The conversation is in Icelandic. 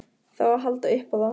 Það á að halda upp á það.